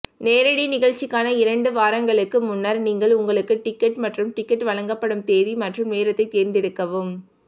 நேரடி நிகழ்ச்சிக்கான இரண்டு வாரங்களுக்கு முன்னர் நீங்கள் உங்களுக்கு டிக்கெட் மற்றும் டிக்கெட் வழங்கப்படும் தேதி மற்றும் நேரத்தைத் தேர்ந்தெடுக்கவும்